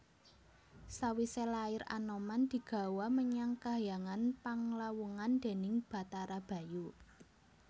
Sawisé lair Anoman digawa menyang kahyangan Panglawungan déning Bathara Bayu